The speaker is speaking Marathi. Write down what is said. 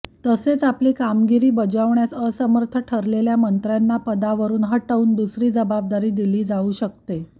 तसेच आपली कामगिरी बजावण्यास असमर्थ ठरलेल्या मंत्र्यांना पदावरून हटवून दुसरी जबाबदारी दिली जाऊ शकते